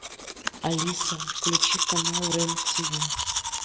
алиса включи канал рен тиви